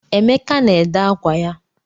Emeka na-ede ákwá ya.